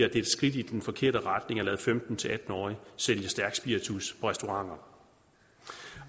er et skridt i den forkerte retning at lade femten til atten årige sælge stærk spiritus på restauranter